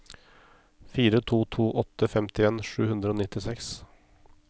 fire to to åtte femtien sju hundre og nittiseks